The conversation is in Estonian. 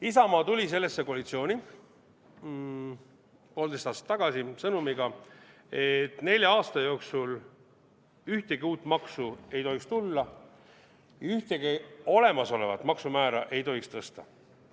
Isamaa tuli sellesse koalitsiooni poolteist aastat tagasi sõnumiga, et nelja aasta jooksul ühtegi uut maksu ei tohiks tulla, ühtegi olemasolevat maksumäära ei tohiks tõsta.